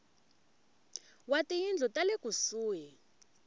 wa tiyindlu ta le kusuhi